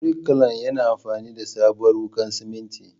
Birkilan yayi amfani da sabuwar wuƙar simintin.